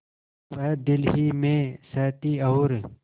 वह दिल ही में सहती और